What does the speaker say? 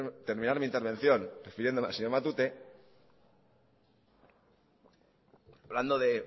terminar mi intervención refiriéndome al señor matute hablando de